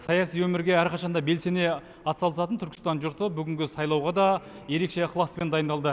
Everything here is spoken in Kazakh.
саяси өмірге әрқашан да белсене атсалысатын түркістан жұрты бүгінгі сайлауға да ерекше ықыласпен дайындылды